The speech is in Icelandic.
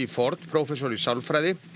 Ford prófessor í sálfræði